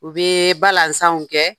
U bɛ balansanw kɛ!